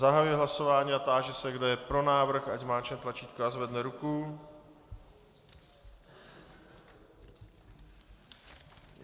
Zahajuji hlasování a táži se, kdo je pro návrh, ať zmáčkne tlačítko a zvedne ruku.